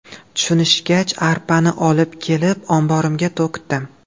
Tushunishgach, arpani olib kelib omborimga to‘kdim.